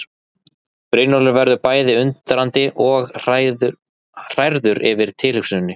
Brynjólfur verður bæði undrandi og hrærður yfir tilhugsuninni.